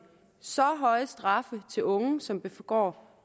så høje straffe til unge som begår